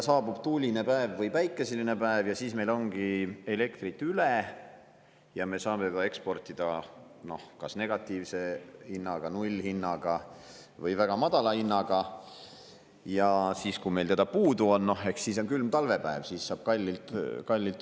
Saabub tuuline päev või päikeseline päev ja siis meil ongi elektrit üle, nii et me saame seda juba eksportida kas negatiivse hinnaga ehk nullhinnaga või väga madala hinnaga, ja siis, kui meil teda puudu on, ehk külmal talvepäeval saab kallilt osta.